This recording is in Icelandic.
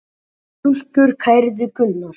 Fimm stúlkur kærðu Gunnar.